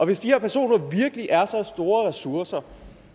hvis de her personer virkelig er så store ressourcer